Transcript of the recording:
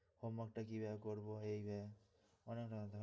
homework টা কিভাবে করবো ,